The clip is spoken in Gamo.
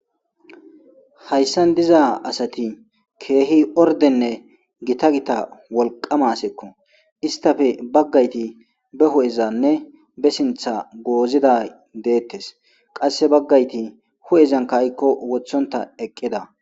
Hayssan diza asati keehi ordenne gita gita wolqamaseeko istafe baggayti be hu'ezanne be sintha goozida deettes qasse baggayti hu'ezan ka'kko wothonta eqqida.